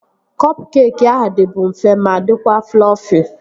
Kọp keekị ahụ dịbu mfe ma dịkwa flọfi